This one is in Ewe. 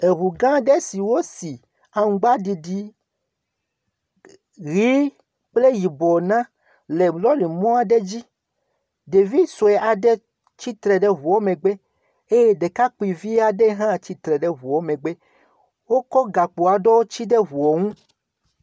Eŋugã aɖe si wosi aŋgbdidi ʋi kple yibɔ na le lɔrimɔ aɖe dzi. Ɖevi sue aɖe tsitre ɖe ŋu aɖe megbe eye ɖekakpuivi aɖe hã tsitre ɖe eŋua megbe, wotsɔ gakpo aɖe sa ɖe ŋua ŋu.